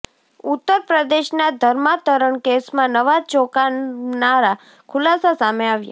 ઉત્તરપ્રદેશના ધર્માંતરણ કેસમાં નવા ચોંકાવનારા ખુલાસા સામે આવ્યા